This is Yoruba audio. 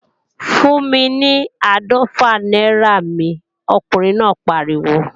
Fún mi ní áàdọ́fà náírà mi, ọkùnrin náà pariwo!